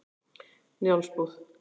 Njálsbúð